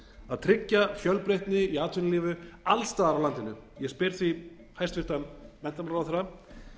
að tryggja fjölbreytni í atvinnulífi alls staðar á landinu ég spyr því hæstvirtur menntamálaráðherra